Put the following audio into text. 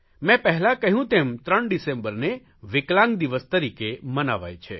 મેં પહેલાં કહ્યું તેમ ત્રણ ડિસેમ્બરને વિકલાંગ દિવસ તરીકે મનાવાય છે